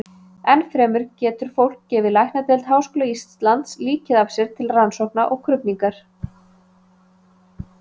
Enn fremur getur fólk gefið læknadeild Háskóla Íslands líkið af sér til rannsókna og krufningar.